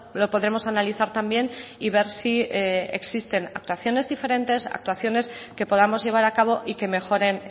lo podremos analizar también y ver si existen actuaciones diferentes actuaciones que podamos llevar a cabo y que mejoren